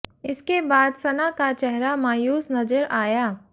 इसके बाद सना का चेहरा मायूस नजर आया